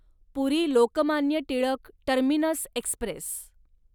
puri Lokmanya Tilak terminus Express